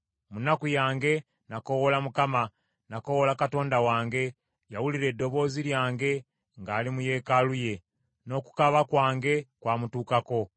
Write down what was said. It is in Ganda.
Mu nnaku yange nakoowoola Mukama ; nakoowoola Katonda wange. Yawulira eddoboozi lyange ng’ali mu yeekaalu ye; n’okukaaba kwange kwamutuukako.